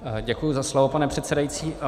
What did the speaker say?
Děkuji za slovo, pane předsedající.